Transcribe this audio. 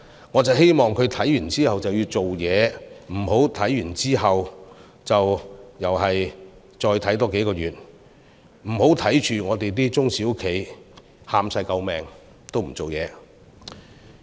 我希望他觀望後就要做事，不要觀望後又再觀望多數個月，不要看着本港的中小企求救也不處理。